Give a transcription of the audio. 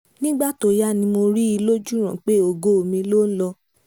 nígbà tó yá ni mo rí i lójúràn pé ògo mi ló ń lọ